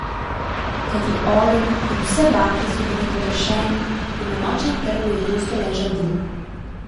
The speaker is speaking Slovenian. Kajti ogenj in vse bakle so bili pogašeni in na nočnem trgu je gosto ležal dim.